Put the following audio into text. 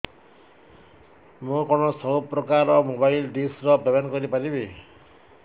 ମୁ କଣ ସବୁ ପ୍ରକାର ର ମୋବାଇଲ୍ ଡିସ୍ ର ପେମେଣ୍ଟ କରି ପାରିବି